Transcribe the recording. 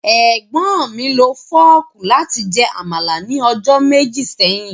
Egbọn mi lo fọọku lati jẹ́ Amala ni ọjọ meji seyin.